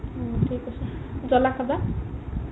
উম থিক আছে জলা খাবা